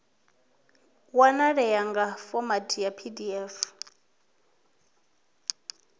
wanalea nga fomathi ya pdf